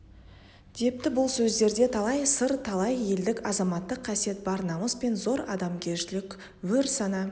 депті бұл сөздерде талай сыр талай елдік азаматтық қасиет бар намыс пен зор адамгершілік өр сана